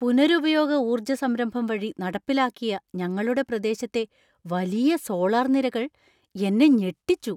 പുനരുപയോഗ ഊർജ സംരംഭം വഴി നടപ്പിലാക്കിയ ഞങ്ങളുടെ പ്രദേശത്തെ വലിയ സോളാർ നിരകൾ എന്നെ ഞെട്ടിച്ചു.